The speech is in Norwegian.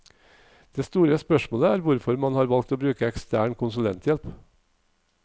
Det store spørsmålet er hvorfor man har valgt å bruke ekstern konsulenthjelp.